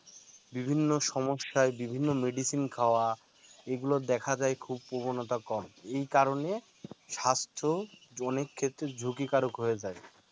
বিভিন্ন সমস্যায় বিভিন্ন medicine খাওয়া এই গুলো দেখা যায় খুব প্রবণতা কম এই কারণে স্বাস্থ্য অনেক ক্ষেত্রে ঝুঁকিকারক হয়ে যায়